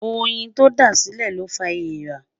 óyìn tó dá sílè ló fá ẹẹ̀rà